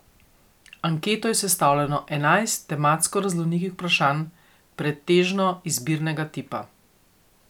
Anketo je sestavljalo enajst tematsko raznolikih vprašanj, pretežno izbirnega tipa.